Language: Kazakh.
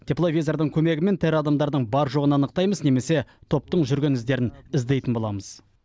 тепловизордың көмегімен тірі адамдардың бар жоғын анықтаймыз немесе топтың жүрген іздерін іздейтін боламыз